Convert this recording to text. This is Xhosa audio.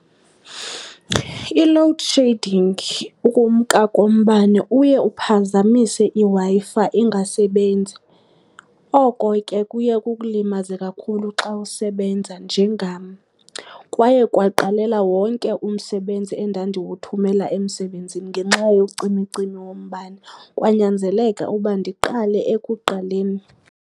I-load shedding ukumka kombane uye iphazamise iWi-Fi ingasebenzi. Oko ke kuye kukulimaze kakhulu xa usebenza njengam. Kwaye kwaqalela wonke umsebenzi endandiwuthumela emsebenzini ngenxa yocimicimi wombane kwanyanzeleka uba ndiqale ekuqaleni.